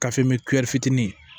fitinin